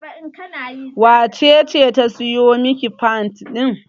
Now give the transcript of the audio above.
wacece ta siyo Miki fad ɗin?